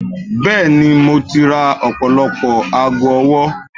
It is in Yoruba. bẹẹni, mo ti ra ọpọlọpọ aago ọwọ